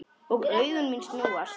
Og augu mín snúast.